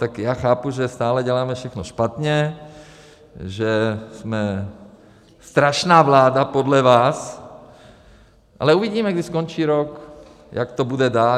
Tak já chápu, že stále děláme všechno špatně, že jsme strašná vláda podle vás, ale uvidíme, když skončí rok, jak to bude dál.